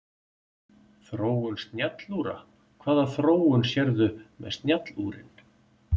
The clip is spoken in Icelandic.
Þróun snjallúra Hvaða þróun sérðu með snjallúrin?